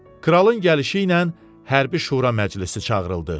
Kralın gəlişi ilə hərbi şura məclisi çağırıldı.